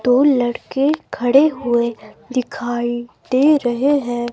दो लड़के खड़े हुए दिखाई दे रहे हैं।